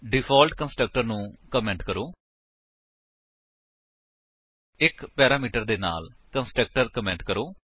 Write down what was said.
default constructor ਨੂੰ comment ਕਰੋ 1 parameter ਦੇ ਨਾਲ ਕੰਸਟਰਕਟਰ ਕਮੇਂਟ ਕਰੋ